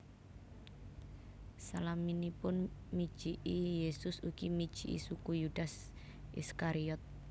Salaminipun mijiki Yesus ugi mijiki suku Yudas Iskariot